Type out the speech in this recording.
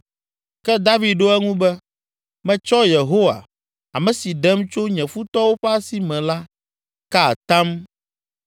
Ke David ɖo eŋu be, “Metsɔ Yehowa, ame si ɖem tso nye futɔwo ƒe asi me la ka atam